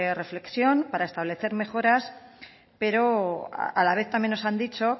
reflexión para establecer mejoras pero a la vez también nos han dicho